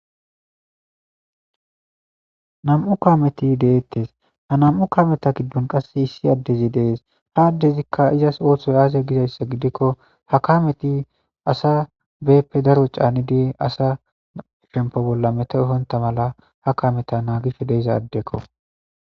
nam7u kameti deettes ha nam7u kameta giddon qasse issi addezi dees ha addezikka izas ooththoy aaze gizayssa gidikko ha kameti asa beeppe daro caanidi asa shempo bolla meta ehonta mala ha kameta naagif deizaaddekko